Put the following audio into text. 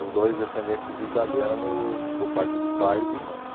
os dois descendentes de italiano por parte de pais e mães.